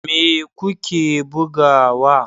Me kuke bugawa?